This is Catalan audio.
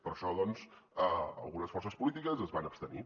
per això doncs algunes forces polítiques es van abstenir